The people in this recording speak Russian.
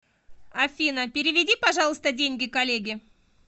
афина переведи пожалуйста деньги коллеге